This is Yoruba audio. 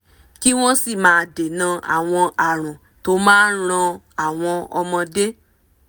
kí wọ́n sì máa dènà àwọn àrùn tó máa ran àwọn ọmọdé